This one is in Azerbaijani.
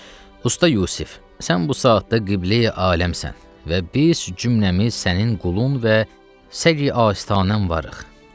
Usta Yusif, sən bu saatda qibləyi aləmsən və biz cümləmiz sənin qulun və səqi asitanən varıq.